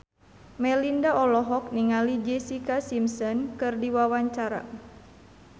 Melinda olohok ningali Jessica Simpson keur diwawancara